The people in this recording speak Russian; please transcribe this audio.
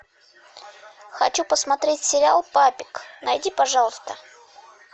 хочу посмотреть сериал папик найди пожалуйста